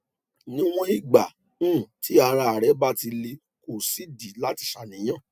níwòn ìgbà um tí ara rẹ bá ti le kò sídìí láti ṣàníyàn